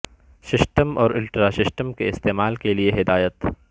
system اور ultra system کے استعمال کے لئے ہدایات